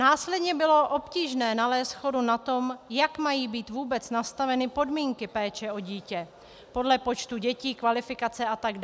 Následně bylo obtížné nalézt shodu na tom, jak mají být vůbec nastaveny podmínky péče o dítě, podle počtu dětí, kvalifikace atd.